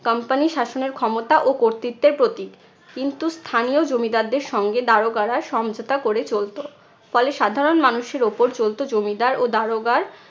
company শাসনের ক্ষমতা ও কর্তৃত্বের প্রতীক। কিন্তু স্থানীয় জমিদারদের সঙ্গে দারোগারা সমঝোতা করে চলতো। ফলে সাধারণ মানুষের উপর চলতো জমিদার ও দারোগার